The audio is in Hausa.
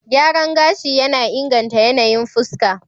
Gyaran gashi yana inganta yanayin fuska.